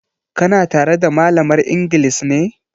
Ka na tare da malamar inglis ne?